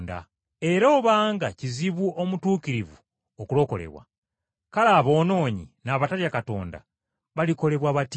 “Era obanga kizibu omutuukirivu okulokolebwa, kale aboonoonyi n’abatatya Katonda balikolebwa batya?”